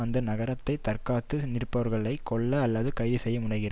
அந்த நகரத்தை தற்காத்து நிற் பவர்களை கொல்ல அல்லது கைது செய்ய முனைகிற